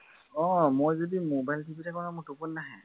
আহ মই যদি mobile টিপি থাকো নহয় টোপনি নাহে।